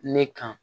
Ne kan